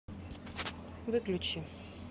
выключи